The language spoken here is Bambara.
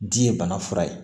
Di ye bana fura ye